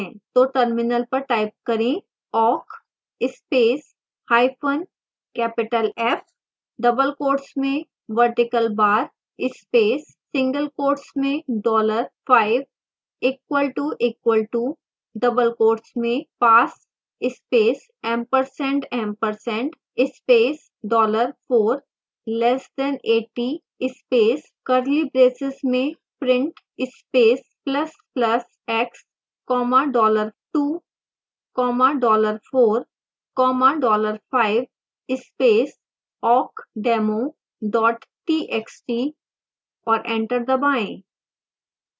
तो terminal पर type करें